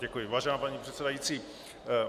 Děkuji, vážená paní předsedající.